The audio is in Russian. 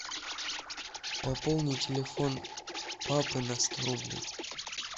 пополни телефон папы на сто рублей